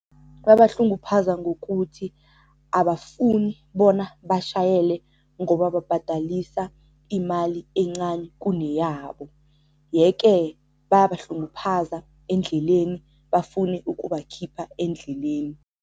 Babahlunguphaza ngokuthi abafuni bona bashayele ngoba babhadalisa imali encani kuneyabo, yeke bayabahlunguphaza endleleni bafune ukubakhipha endleleni.